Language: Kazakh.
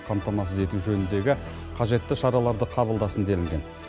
қамтамасыз ету жөніндегі қажетті шараларды қабылдасын делінген